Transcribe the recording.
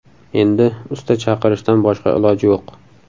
Endi usta chaqirishdan boshqa iloj yo‘q.